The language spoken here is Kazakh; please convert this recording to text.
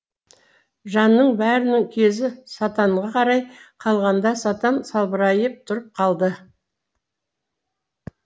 жанның бәрінің кезі сатанға қарай қалғанда сатан салбырайып тұрып қалды